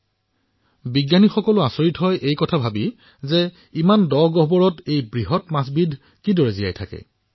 বৈজ্ঞানিকসকল আচৰিত হৈছে যে এই ইমান ডাঙৰ মাছবিধ গুহাৰ ভিতৰত কিদৰে জীয়াই থাকে